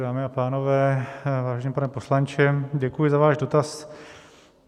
Dámy a pánové, vážený pane poslanče, děkuji za váš dotaz.